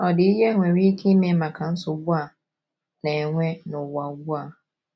Ọ̀ dị ihe enwere ike ime maka nsogbu a na - enwe n’ụwa ugbu a?